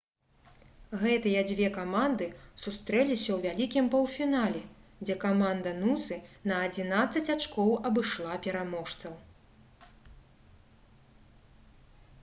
гэтыя дзве каманды сустрэліся ў вялікім паўфінале дзе каманда нусы на 11 ачкоў абышла пераможцаў